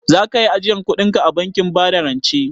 Za kayi ajiyar kudinka a bankin bada rance?